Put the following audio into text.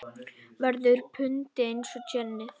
Verður pundið eins og jenið?